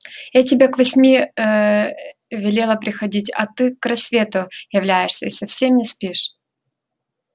я тебе к восьми велела приходить а ты к рассвету являешься и совсем не спишь